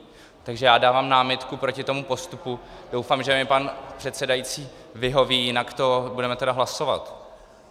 Takže já dávám námitku proti tomu postupu, doufám, že mi pan předsedající vyhoví, jinak to budeme tedy hlasovat.